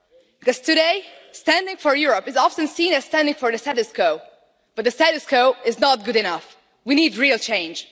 Because today, standing for Europe is often seen as standing for the status quo but the status quo is not good enough we need real change.